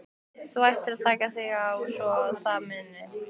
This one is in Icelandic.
Þú ætlaðir að taka þig á svo að um munaði.